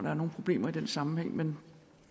er nogen problemer i den sammenhæng men